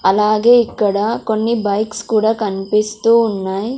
అలాగే ఇక్కడ కొన్ని బైక్స్ కూడా కన్పిస్తూ ఉన్నాయ్.